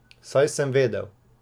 Saj sem vedel!